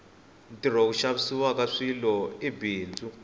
ntirho wo xaviwaka swilo i bindzu